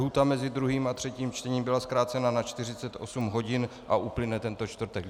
Lhůta mezi druhým a třetím čtením byla zkrácena na 48 hodin a uplyne tento čtvrtek.